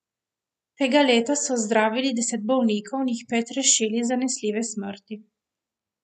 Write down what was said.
Tega leta so zdravili deset bolnikov in jih pet rešili zanesljive smrti.